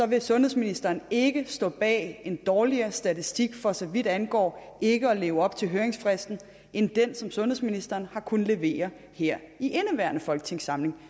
vil sundhedsministeren ikke stå bag en dårligere statistik for så vidt angår ikke at leve op til høringsfristen end den som sundhedsministeren har kunnet levere her i indeværende folketingssamling